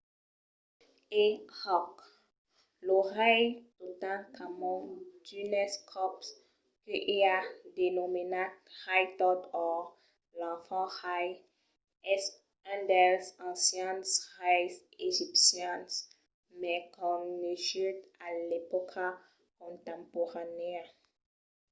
e òc! lo rei totankhamon d’unes còps que i a denomenat rei tot or l'enfant rei es un dels ancians reis egipcians mai coneguts a l’epòca contemporanèa